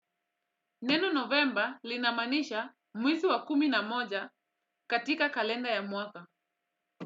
Neno novemba linamaanisha mwezi wa kumi na moja katika kalenda ya mwaka.